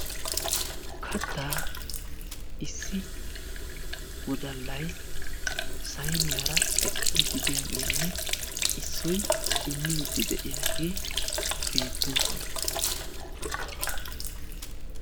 kattaa issi wodallay sayiniyaara ekkidi de'iyaagenne issoy immide de'iyaage beettoosona.